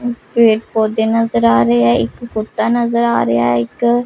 पेड़ पौधे नजर आ रहे है एक कुत्ता नजर आ रया एक--